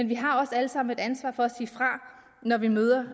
vi har alle sammen et ansvar for at sige fra når vi møder